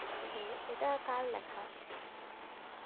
হম হম, এটা কার লেখা?